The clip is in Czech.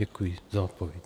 Děkuji za odpověď.